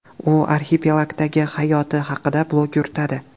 U arxipelagdagi hayoti haqida blog yuritadi.